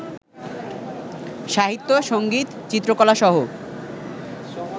সাহিত্য, সংগীত, চিত্রকলাসহ